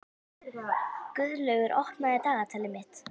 Guðlaugur, opnaðu dagatalið mitt.